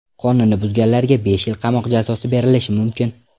Qonunni buzganlarga besh yil qamoq jazosi berilishi mumkin.